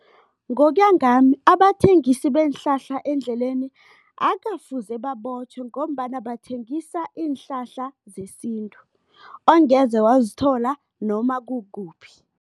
Ngokuya ngami abathengisi beenhlahla endleleni, akukafuze babotjhwe ngombana bathengisa iinhlahla zesintu ongeze wazithola noma kukuphi.